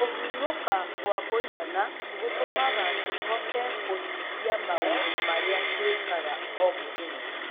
Kũhurũka gwa kũigana gũtũmaga tũhote kũhingia maũndũ marĩa twĩkaga o mũthenya.